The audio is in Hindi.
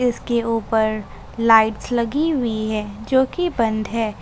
इसके ऊपर लाइट्स लगी हुई है जोकि बंद है ।